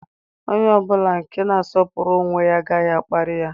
Onye ọ bụla nke na-asọpụrụ onwe ya agaghị a kparịrị ya.